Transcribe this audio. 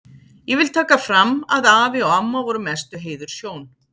Ég vil taka fram að afi og amma voru mestu heiðurshjón.